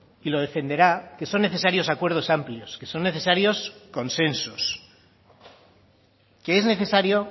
y lo defenderá que son necesarios acuerdos amplios que son necesarios consensos que es necesario